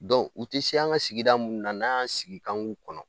u tɛ se an ka sigida munnu n'an y'an sigi k'an b'u kɔnɔ